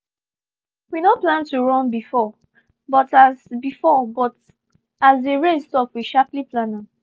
we no plan to run before but as before but as the rain stop we sharply plan am